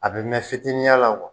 A bɛ mɛn fitininya la